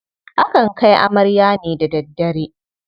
Akan kai amarya ne da daddare.